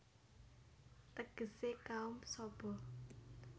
Tegesé kaum Saba